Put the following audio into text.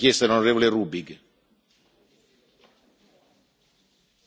Oppure vuole mantenere intatta la sua proposta respingendo la richiesta dell'on.